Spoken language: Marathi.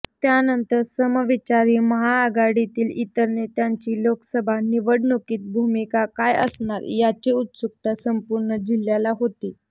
त्यानंतर समविचारी महाआघाडीतील इतर नेत्यांची लोकसभा निवडणुकीत भूमिका काय असणार याची उत्सुकता संपूर्ण जिह्याला होती